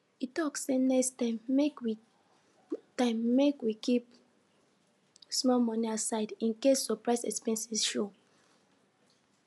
e talk say next time make we time make we keep small money aside in case surprise expense show